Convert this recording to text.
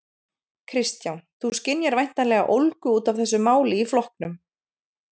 Kristján: Þú skynjar væntanlega ólgu út af þessu máli í flokknum?